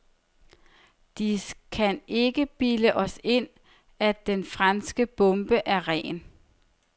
De kan ikke bilde os ind, at den franske bombe er ren.